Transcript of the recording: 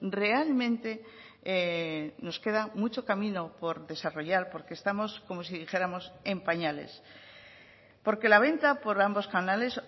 realmente nos queda mucho camino por desarrollar porque estamos como si dijéramos en pañales porque la venta por ambos canales